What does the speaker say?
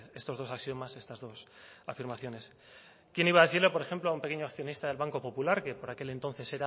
estos dos axiomas estas dos afirmaciones quién iba a decir por ejemplo a un pequeño accionista del banco popular que por aquel entonces